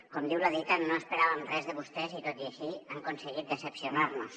com diu la dita no esperàvem res de vostès i tot i així han aconseguit decebre’ns